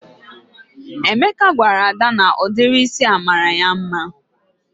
Emeka gwara Ada na ụdịrị ísì a mara ya mma